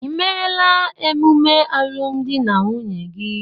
Ị emela emume alụmdi na nwunye gị?